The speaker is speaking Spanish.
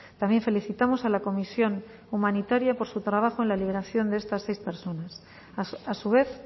también felicitamos a la comisión humanitaria por su trabajo en la liberación de estas seis personas a su vez